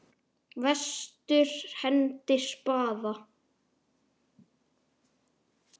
Vestur hendir spaða.